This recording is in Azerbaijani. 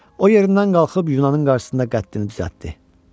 O yerindən qalxıb yunanın qarşısında qəddini düzəltdi.